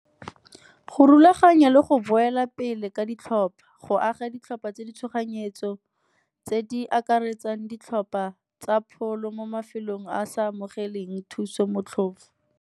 Go rulaganya le go boela pele ka ditlhopa, go aga ditlhopha tse di tshoganyetso tse di akaretsang ditlhopha tsa pholo mo mafelong a a sa amogeleng thuso motlhofo.